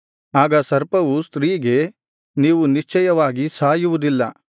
ಆಗ ಸರ್ಪವು ಸ್ತ್ರೀಗೆ ನೀವು ನಿಶ್ಚಯವಾಗಿ ಸಾಯುವುದಿಲ್ಲ